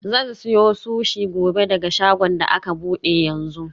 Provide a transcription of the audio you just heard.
Zan siyo sushi gobe daga shagon da aka bude yanzu.